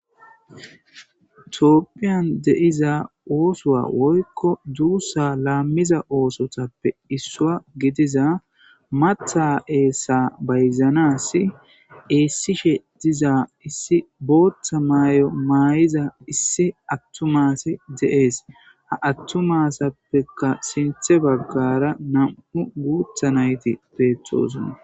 tophiyan de'iza oosowa woykko duussa laammiza oosotappe issua gidiza matha7eessa bayzanas eessishe diza issi booththa maay7o maay7iza issi attumase de7ees ha attu masappeka sinthe baggara nam7u guutha nayti beettosnna